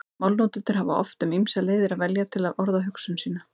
Málnotendur hafa oft um ýmsar leiðir að velja til að orða hugsun sína.